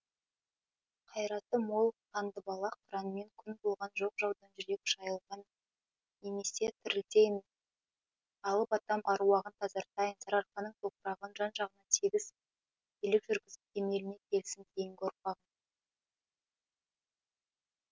қайраты мол қандыбалақ қыранмен күн болған жоқ жаудан жүрек шайылған немесе тірілтейін алып атам аруағын тазартайын сарыарқаның топырағын жан жағына тегіс билік жүргізіп кемеліне келсін кейінгі ұрпағым